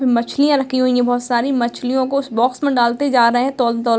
मछलियाँ रखी हुई है बहुत सारी | मछलियों को उस बॉक्स में डालते जा रहे हैं तोल तोल --